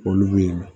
Olu bɛ ye